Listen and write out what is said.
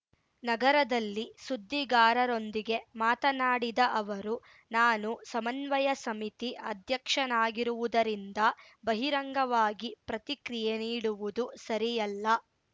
ನಗರದಲ್ಲಿ ಸುದ್ದಿಗಾರರೊಂದಿಗೆ ಮಾತನಾಡಿದ ಅವರು ನಾನು ಸಮನ್ವಯ ಸಮಿತಿ ಅಧ್ಯಕ್ಷನಾಗಿರುವುದರಿಂದ ಬಹಿರಂಗವಾಗಿ ಪ್ರತಿಕ್ರಿಯೆ ನೀಡುವುದು ಸರಿಯಲ್ಲ